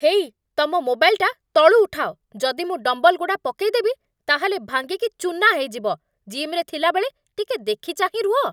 ହେଇ, ତମ ମୋବାଇଲଟା ତଳୁ ଉଠାଅ, ଯଦି ମୁଁ ଡମ୍ବଲ୍‌ଗୁଡ଼ା ପକେଇଦେବି ତା'ହେଲେ ଭାଙ୍ଗିକି ଚୂନା ହେଇଯିବ, ଜିମ୍ରେ ଥିଲାବେଳେ ଟିକେ ଦେଖି ଚାହିଁ ରୁହ ।